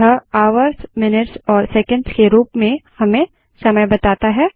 यह hhmmस् के रूप में केवल हमें समय बताता है